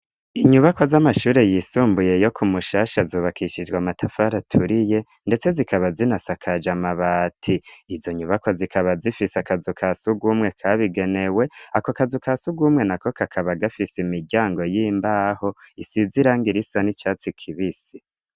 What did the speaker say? Inyubako z'amashure yisumbuye yo ku mushasha azobakishijwa amatafara aturiye, ndetse zikaba zinasakaja amabati izo nyubako zikaba zifise akazu ka si ugumwe kabigenewe ako akazu ka si ugumwe na ko kakaba agafise imiryango y'imbaho isib zirang irisa n'icatsi kibisi.